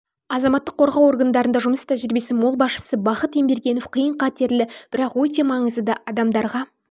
азаматтық қорғау органдарында жұмыс тәжірибесі мол басшысы бахыт ембергенов қиын қатерлі бірақ өте маңызды да адамдарға